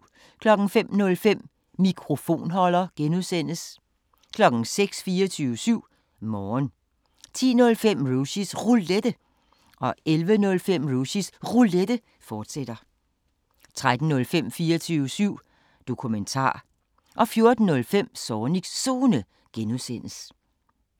05:05: Mikrofonholder (G) 06:00: 24syv Morgen 10:05: Rushys Roulette 11:05: Rushys Roulette, fortsat 13:05: 24syv Dokumentar 14:05: Zornigs Zone (G)